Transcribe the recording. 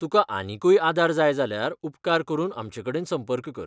तुकां आनीकूय आदार जाय जाल्यार उपकार करून आमचेकडेन संपर्क कर.